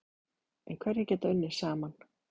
En hverjir geta unnið saman?